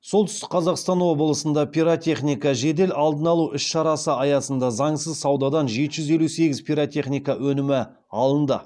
солтүстік қазақстан облысында пиротехника жедел алдын алу іс шарасы аясында заңсыз саудадан жеті жүз елу сегіз пиротехника өнімі алынды